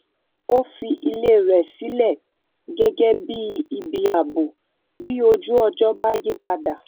ó fi ilé rè sílẹ gégé bí ibi ààbò bí ojú ọjó bá yí padà